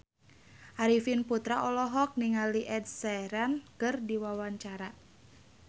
Arifin Putra olohok ningali Ed Sheeran keur diwawancara